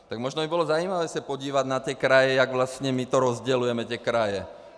Tak možná by bylo zajímavé se podívat na ty kraje, jak vlastně my to rozdělujeme, ty kraje.